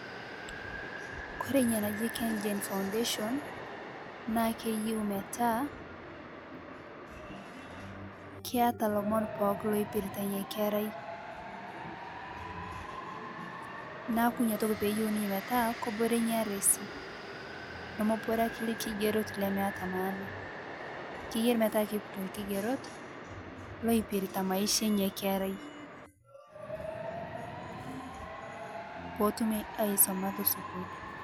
Kore inia najii Kengen Foudation, naa keyeu metaa keata lomon pooki loipiritaa inia kerai , naaku inia toki peeyeu ninyee metaa keboree inia ardasi nemebore ake lkigerot lemeata maana, keyarii metaa keiput lkigerot loipiritaa maisha einia kerai, peetumi aisomaa tesukuul.